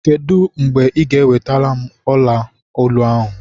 Kedụ mgbe ị ga ewelataram ọla olu ahụ?